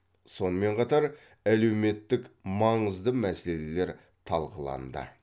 сонымен қатар әлеуметтік маңызды мәселелер талқыланды